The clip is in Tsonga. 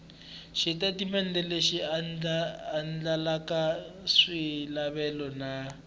xitatimende lexi andlalaka swilaveko na